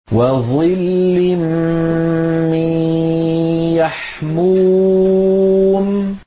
وَظِلٍّ مِّن يَحْمُومٍ